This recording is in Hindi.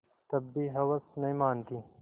तब भी हवस नहीं मानती